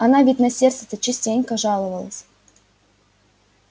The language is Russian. она ведь на сердце-то частенько жаловалась